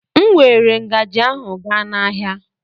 M weere ngaji ahụ gaa n'ahịa.